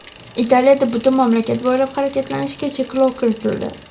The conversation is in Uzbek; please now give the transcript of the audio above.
Italiyada butun mamlakat bo‘ylab harakatlanishga cheklov kiritildi.